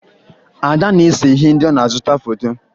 Ada na-ese ihe ndị ọ na-azụta foto